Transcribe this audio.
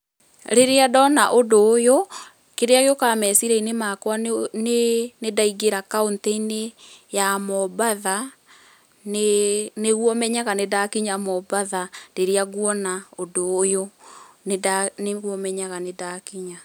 Rĩrĩa ndona ũndũ ũyũ, kĩrĩa gĩũkaga meciria-inĩ makwa nĩ, nĩndaingĩra kaũntĩ-inĩ ya mombatha, nĩguo menyaga nĩndakinya mombatha rĩrĩa nguona ũndũ ũyũ nĩguo menyaga nĩ ndakinya.